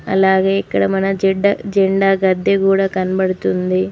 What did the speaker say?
అలాగే ఇక్కడ మన జెడ్డ జెండా గద్దె కూడా కనబడుతుంది.